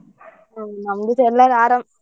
ಹ್ಮ್ ನಮ್ದುಸಾ ಎಲ್ಲರ್ ಆರಾಮ್.